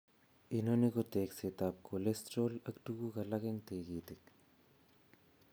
Inoni ko tegseet ab cholesterol ak tuguk alak eng tigitik